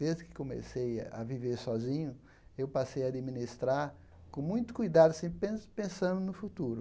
Desde que comecei a viver sozinho, eu passei a administrar com muito cuidado, sempre pen pensando no futuro.